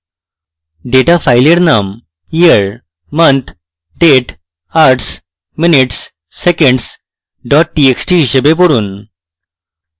date file name year month date hours minutes seconds dot txt হিসাবে পড়ুন